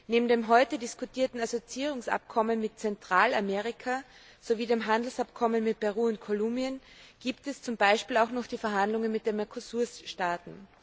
Neben dem heute diskutierten Assoziierungsabkommen mit Zentralamerika sowie dem Handelsabkommen mit Peru und Kolumbien gibt es zum Beispiel auch noch die Verhandlungen mit den MERCOSUR Staaten.